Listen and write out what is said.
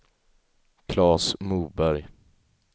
Claes Moberg